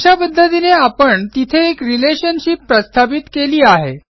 अशा पध्दतीने आपण तिथे एक रिलेशनशिप प्रस्थापित केली आहे